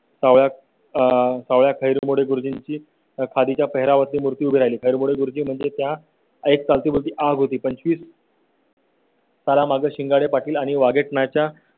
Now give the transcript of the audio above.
गुरुजींची खाडीच्या पेहरावरती मूर्ती उभी राहिली गुरुजी म्हणजे त्या एक चालती बोलती आग होती. पंचवीस . तारा मागें शिंगाडे पाटील आणि वाचनाच्या